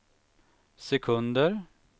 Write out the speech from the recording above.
sekunder